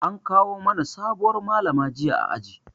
An kawo mana sabuwar Malama jiya a aji.